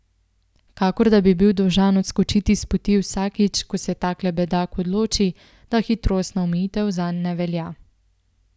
Kakor da bi bil dolžan odskočiti spoti vsakič, ko se takle bedak odloči, da hitrostna omejitev zanj ne velja.